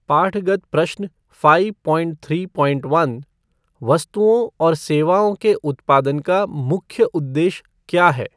पाठगत प्रश्न five point three point one वस्तुओं और सेवओं के उत्पादन का मुख्य उद्देश्य क्या है?